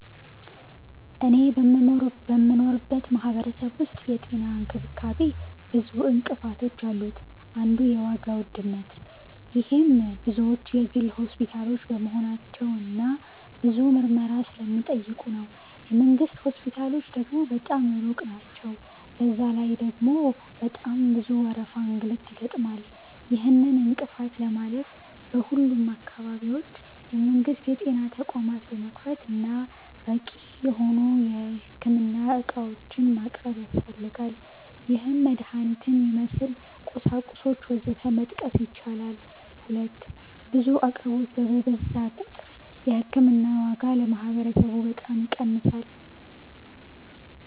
እኔ በምኖርበት ማህበረሰብ ዉስጥ የጤና እንክብካቤ ብዙ እንቅፋቶች አሉት አንዱ የዋጋ ዉድነት -ይሄም ብዙዎቹ የግል ሆስፒታሎች በመሆናቸው እና ብዙ ምርመራ ስለሚጠይቁ ነው። የ መንግስት ሆስፒታሎች ደግሞ በጣም ሩቅ ናቸዉ፤ በዛ ላይ ደግሞ በጣም ብዙ ወረፋና እንግልት ይገጥማል። ይህንን እንቅፋት ለማለፍ በሁሉም አካባቢዎች የመንግስት የጤና ተቋማት መክፈት እና በቂ የሆኑ የህክምና ዕቃዎችን ማቅረብ ያስፈልጋል -ይህም መድሀኒትን ይመስል፣ ቁሳቁሶች ወዘተ መጥቀስ ይቻላል። 2. ብዙ አቅርቦት በበዛ ቁጥር የ ህክምና ዋጋ ለማህበረሰቡ በጣም ይቀንሳል።